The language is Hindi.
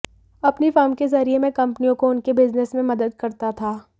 अपनी फर्म के ज़रिए मैं कंपनियों को उनके बिज़नेस में मदद करता था